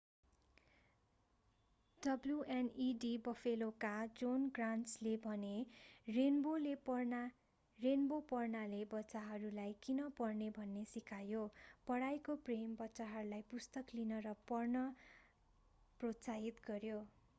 wned बफेलोका John ग्रान्टले रेन्बोको होम स्टेसन पढ्दै भने रेन्बो पढ्नाले बच्चाहरूलाई किन पढ्ने भन्ने सिकायो ......पढाइको प्रेम - कार्यक्रमले बच्चाहरूलाई पुस्तक लिन र पढ्न प्रोत्साहित गर्‍यो।